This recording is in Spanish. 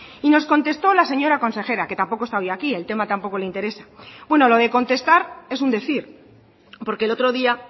y nos contestó la señora consejera que tampoco está hoy aquí el tema tampoco le interesa bueno lo de contestar es un decir porque el otro día